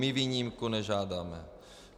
My výjimku nežádáme.